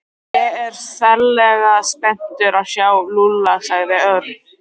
Ég er ferlega spenntur að sjá Lúlla sagði Örn.